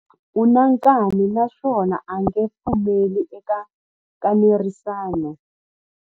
U na nkani naswona a nge pfumeli eka nkanerisano.